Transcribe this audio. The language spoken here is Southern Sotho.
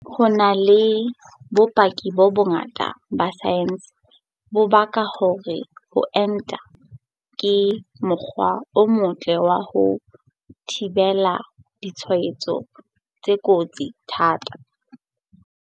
Ho na le bopaki bo bongata ba saense bo pakang hore ho enta ke mokgwa o motle wa ho thibela ditshwaetso tse kotsi thata.